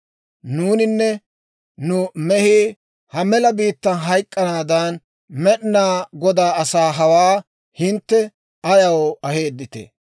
Nuuninne nu mehii ha mela biittan hayk'k'anaadan, Med'inaa Godaa asaa hawaa hintte ayaw aheedditee?